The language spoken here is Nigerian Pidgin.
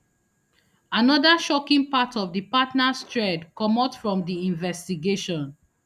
anoda shocking part of di partners thread comot from di investigation